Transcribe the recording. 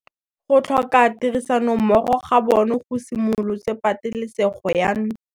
Go tlhoka tirsanommogo ga bone go simolotse patêlêsêgô ya ntwa.